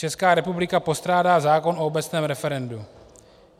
Česká republika postrádá zákon o obecném referendu.